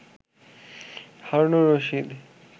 Harunur Rashid